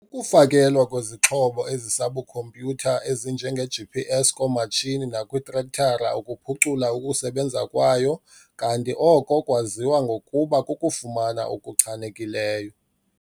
Ukufakelwa kwezixhobo ezisabukhompyutha ezinjengeGPS koomatshini nakwiitrektara ukuphucula ukusebenza kwayo kanti oko kwaziwa ngokuba kukufama okuchanekileyo.